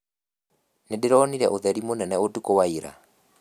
Nĩndĩronire ũtheri mũnene ũtukũ wa ira